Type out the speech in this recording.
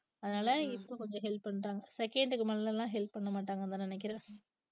அதனால இப்ப கொஞ்சம் help பண்றாங்க second க்கு மெலலாம் எல்லாம் help பண்ண மாட்டாங்கன்னுதான் நினைக்கிறேன்.